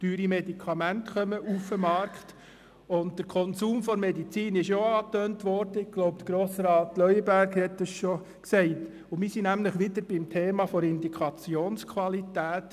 Teure Medikamente kommen auf den Markt und der Konsum der Medizin wurde auch angetönt – ich glaube, Grossrat Leuenberger hat das schon gesagt –, und wir sind nämlich wieder beim Thema der Indikationsqualität.